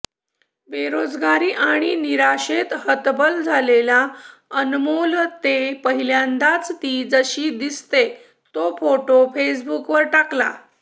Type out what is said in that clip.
बेरोजगारी आणि निराशेने हतबल झालेल्या अनमोल ने पहिल्यांदाच ती जशी दिसते तो फोटो फेसबुकवर टाकला